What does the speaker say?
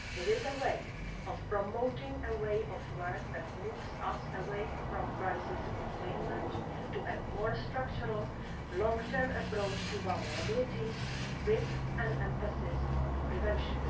It helps to promote a way of working that moves us away from crisis containment to a more structural, long-term approach to vulnerabilities with an emphasis on prevention.